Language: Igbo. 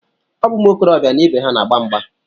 Ọ bụ ụmụ okorobịa na ibe ha na-agba mgba